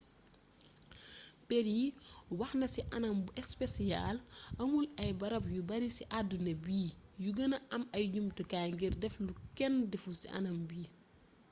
perry wax na ci anam bu espesiyaal amul ay barab yu bari ci addina bi yu gëna am ay jumtukaay ngir def lu kenn deful ci anam bii